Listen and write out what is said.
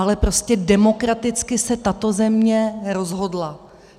Ale prostě demokraticky se tato země rozhodla.